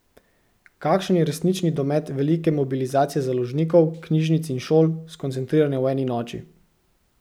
Kakšen je resnični domet velike mobilizacije založnikov, knjižnic in šol, skoncentrirane v eni noči?